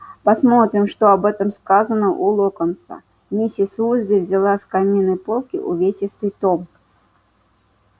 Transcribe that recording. посмотрим что об этом сказано у локонса миссис уизли взяла с каминной полки увесистый том